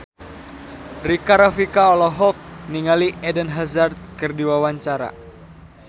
Rika Rafika olohok ningali Eden Hazard keur diwawancara